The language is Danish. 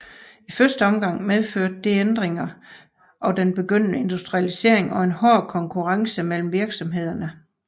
I første omgang medførte disse ændringer og den begyndende industrialisering en hård konkurrence mellem virksomhederne